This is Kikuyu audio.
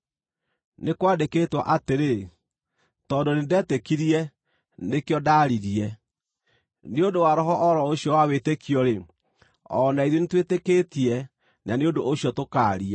Nĩ kwandĩkĩtwo atĩrĩ: “Tondũ nĩndetĩkirie; nĩkĩo ndaaririe.” Nĩ ũndũ wa roho o ro ũcio wa wĩtĩkio-rĩ, o na ithuĩ nĩtwĩtĩkĩtie na nĩ ũndũ ũcio tũkaaria,